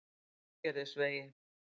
Sandgerðisvegi